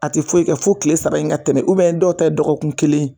A ti foyi kɛ fo kile saba in ka tɛmɛ, dɔw ta ye dɔkɔkun kelen ye